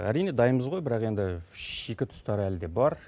әрине дайынбыз ғой бірақ енді шикі тұстары әлі де бар